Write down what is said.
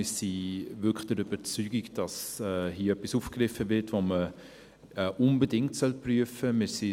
Wir sind wirklich der Überzeugung, dass hier etwas aufgegriffen wird, das man unbedingt prüfen soll.